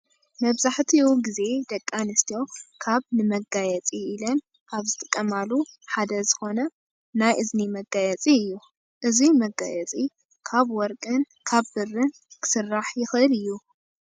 መብዛሕቲኡ ግዜ ደቂ ኣንስትዮ ካበ ንመጋየፂ ኢለን ካብ ዝጥቀማሉ ሓደ ዝኮነ ናይ እዝኒ መጋየፂ እዩ። እዙይ መጋየፂ ካብ ወርቂን ካብ ብርን ክስራሕ ይክእል እዩ ።